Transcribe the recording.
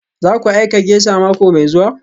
Zaku aika geisha mako mai zuwa?